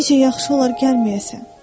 bu gecə yaxşı olar gəlməyəsən.